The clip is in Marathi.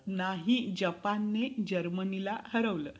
नाही जपान ने जर्मनीला हरवलं.